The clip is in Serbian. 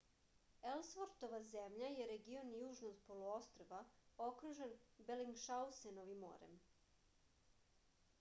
elsvortova zemlja je region južno od poluostrva okružen belingšausenovim morem